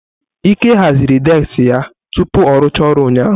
Ike haziri deski ya tupu ọ rụchaa ọrụ ụnyaahụ.